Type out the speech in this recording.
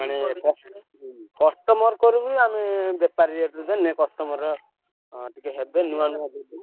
ମାନେ ହୁଁ କ୍~ customer ଙ୍କର ବି ଆମେ ବେପାରୀ rate ରେ ଦେଲେ customer ଟିକେ ହେବେ ନୂଆ ନୂଆ ଦେବି।